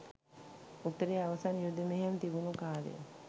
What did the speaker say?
උතුරේ අවසන් යුද මෙහෙයුම් තිබුණු කාලයේ